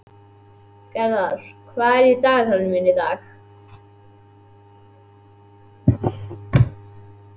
Gerðar, hvað er í dagatalinu mínu í dag?